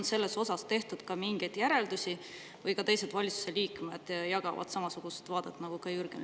Kas sellest on tehtud mingeid järeldusi või jagavad teised valitsuse liikmed seda Jürgen Ligi vaadet?